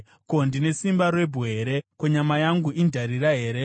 Ko, ndine simba rebwe here? Ko, nyama yangu indarira here?